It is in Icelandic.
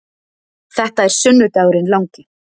Þetta er sunnudagurinn langi.